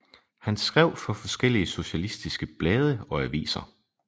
Han skrev for forskellige socialistiske blade og aviser